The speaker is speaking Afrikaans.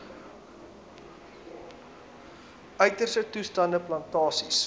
uiterste toestande plantasies